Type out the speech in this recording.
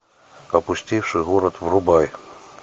опустевший город врубай